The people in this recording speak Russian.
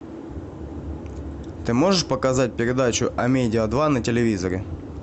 ты можешь показать передачу амедиа два на телевизоре